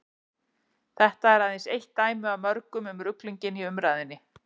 þetta er aðeins eitt dæmi af mörgum um ruglinginn í umræðunni